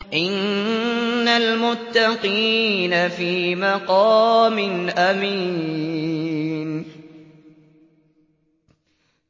إِنَّ الْمُتَّقِينَ فِي مَقَامٍ أَمِينٍ